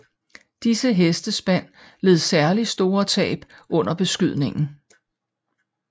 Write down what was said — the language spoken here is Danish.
Disse hestespand led særligt store tab under beskydningen